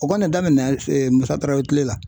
O kɔni daminɛna MUSA TARAWELE kile la.